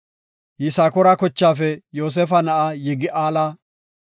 Yisakoora kochaafe Yoosefa na7aa Yigi7aala;